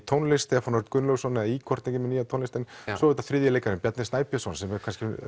tónlist Stefán Örn Gunnlaugsson eða Igor með tónlistina svo er það þriðji leikarinn Bjarni Snægbjörnsson sem er